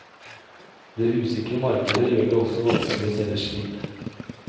Det usikre markedet gjør det også vanskelig å selge skip.